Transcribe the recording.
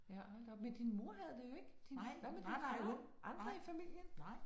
Ja hold da op men din mor havde det jo ikke din hvad med din far? Andre i familien?